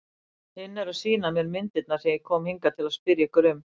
Hinn er að sýna mér myndirnar sem ég kom hingað til að spyrja ykkur um.